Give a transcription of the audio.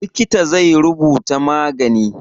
Likita zai rubuta magani.